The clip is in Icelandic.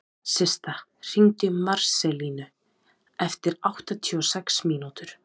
Systa, hringdu í Marselínu eftir áttatíu og sex mínútur.